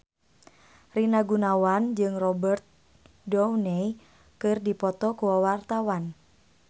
Rina Gunawan jeung Robert Downey keur dipoto ku wartawan